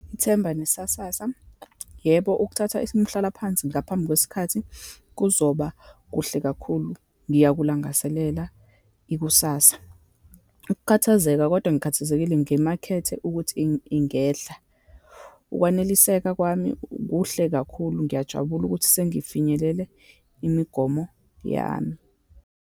Ithemba nesasasa. Yebo, ukuthatha umhlalaphansi ngaphambi kwesikhathi kuzoba kuhle kakhulu, ngiyakulangazelela ikusasa. Ukukhathazeka, kodwa ngikhathazekile ngemakethe ukuthi ingehla. Ukwaneliseka kwami kuhle kakhulu, ngiyajabula ukuthi sengifinyelele imigomo yami.